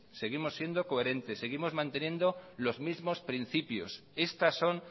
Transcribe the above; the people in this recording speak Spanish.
seguimos siendo coherentes seguimos manteniendo los mismos principios estas son